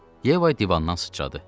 Yeva divandan sıçradı.